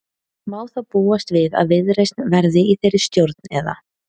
Má þá búast við að Viðreisn verði í þeirri stjórn eða?